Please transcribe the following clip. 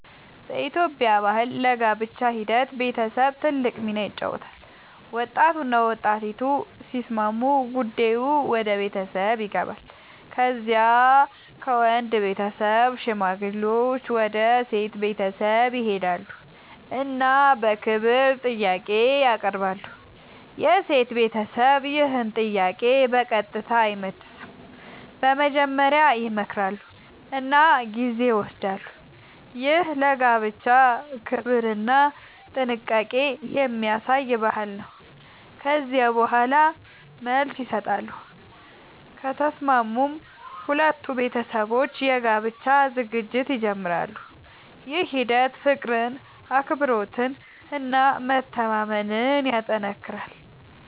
በኢትዮጵያ ባህል ለጋብቻ ሂደት ቤተሰብ ትልቅ ሚና ይጫወታል። ወጣቱና ወጣቲቱ ሲስማሙ ጉዳዩ ወደ ቤተሰብ ይገባል። ከዚያ ከወንድ ቤተሰብ ሽማግሌዎች ወደ ሴት ቤተሰብ ይሄዳሉ እና በክብር ጥያቄ ያቀርባሉ። የሴት ቤተሰብ ይህን ጥያቄ በቀጥታ አይመልስም፤ መጀመሪያ ይመክራሉ እና ጊዜ ይወስዳሉ። ይህ ለጋብቻ ክብርና ጥንቃቄ የሚያሳይ ባህል ነው። ከዚያ በኋላ መልስ ይሰጣሉ፤ ከተስማሙም ሁለቱ ቤተሰቦች የጋብቻ ዝግጅት ይጀምራሉ። ይህ ሂደት ፍቅርን፣ አክብሮትን እና መተማመንን ያጠናክራል።